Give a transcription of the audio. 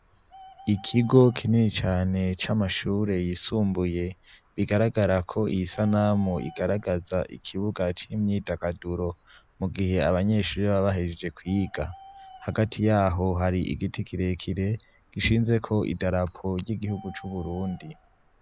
Ikigo kinini cane c'amashure yisumbuye, bigaragara ko iyi sanamu igaragaza ikibuga c'imyidagaduro. Mu gihe abanyeshuri baba bahejeje kwiga. Hagati yaho hari igiti kirekire gishinzeko idarapo ry'igihugu c'Uburundi.